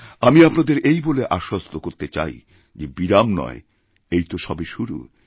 আমি আপনাদের এই বলে আশ্বস্ত করতে চাই যেবিরাম নয় এই তো সবে শুরু